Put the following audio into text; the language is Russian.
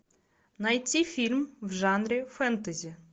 найти фильм в жанре фэнтези